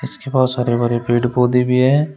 इसके पास हरे भरे पेड़ पौधे भी हैं।